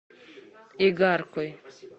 игаркой